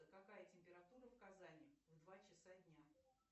какая температура в казани в два часа дня